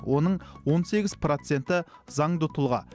оның он сегіз проценті заңды тұлға